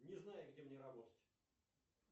не знаю где мне работать